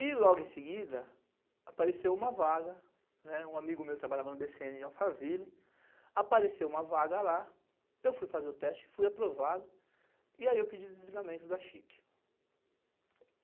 E logo em seguida, apareceu uma vaga, um amigo meu trabalhava no bêcêene em Alphaville, apareceu uma vaga lá, eu fui fazer o teste, fui aprovado, e aí eu pedi o desligamento da chique.